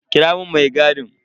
Kira mun mai gadin.